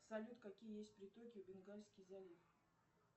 салют какие есть притоки бенгальский залив